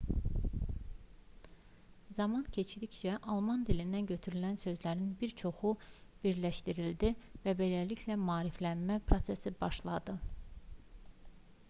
zaman keçdikcə alman dilindən götürülən sözlərin bir çoxu birləşdirildi və beləliklə maariflənmə prosesi başladı